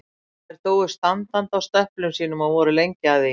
Þær dóu standandi á stöplum sínum og voru lengi að því.